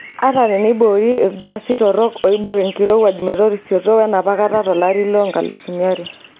Ata teneiboori ilgaasi torok oibok enkirowuaj metorisioto wenapakata tolari le 2000.